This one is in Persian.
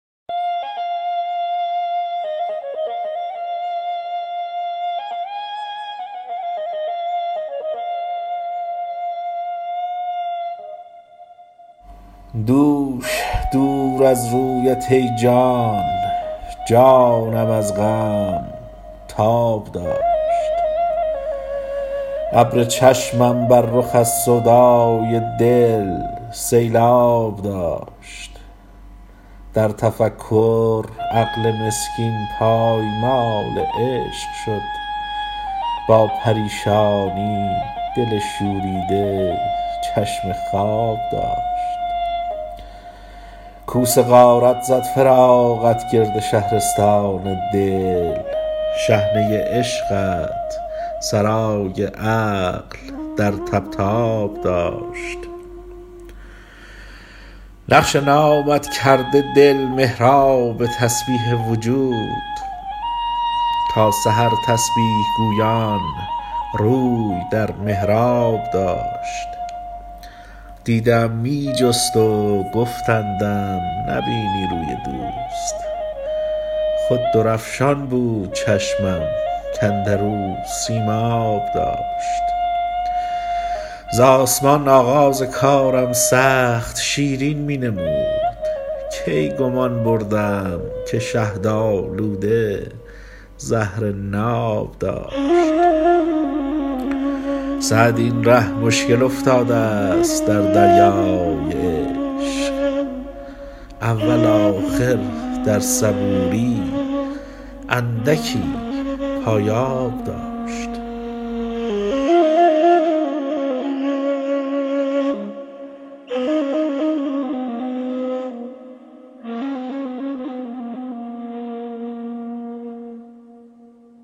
دوش دور از رویت ای جان جانم از غم تاب داشت ابر چشمم بر رخ از سودای دل سیلآب داشت در تفکر عقل مسکین پایمال عشق شد با پریشانی دل شوریده چشم خواب داشت کوس غارت زد فراقت گرد شهرستان دل شحنه عشقت سرای عقل در طبطاب داشت نقش نامت کرده دل محراب تسبیح وجود تا سحر تسبیح گویان روی در محراب داشت دیده ام می جست و گفتندم نبینی روی دوست خود درفشان بود چشمم کاندر او سیماب داشت ز آسمان آغاز کارم سخت شیرین می نمود کی گمان بردم که شهدآلوده زهر ناب داشت سعدی این ره مشکل افتادست در دریای عشق اول آخر در صبوری اندکی پایاب داشت